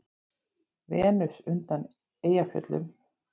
Venus undan Eyjafjöllum